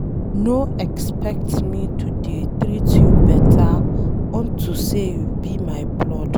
No expect me to dey treat you beta unto say you be my blood.